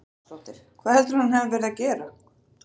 Þóra Arnórsdóttir: Hvað heldurðu að hann hafi verið að gera?